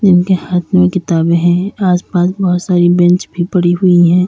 जिनके हाथ में किताबें हैं आसपास बहुत सारी बेंच भी पड़ी हुई है।